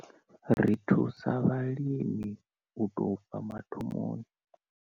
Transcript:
Ri thusa vhalimi u tou bva mathomoni.